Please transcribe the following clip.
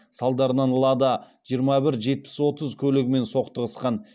салдарынан лада жиырма бір жетпіс отыз көлігімен соқтығысқан